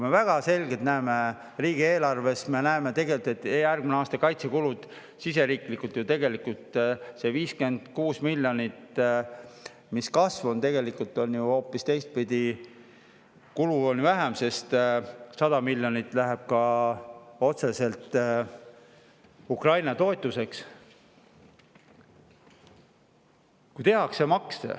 Me näeme riigieelarvest väga selgelt, et järgmisel aastal kaitsekulud siseriiklikult tegelikult, sest 56 miljonit on kasv, aga tegelikult on ju hoopis teistpidi, kulu on väiksem, sest 100 miljonit läheb otseselt Ukraina toetuseks.